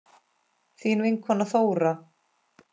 Þín vinkona Þóra.